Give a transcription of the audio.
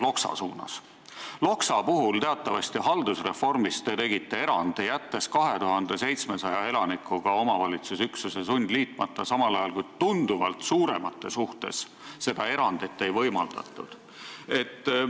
Haldusreformi käigus te tegite teatavasti Loksa puhul erandi, jättes 2700 elanikuga omavalitsusüksuse sundliitmata, samal ajal kui te tunduvalt suurematele üksustele seda erandit ei võimaldanud.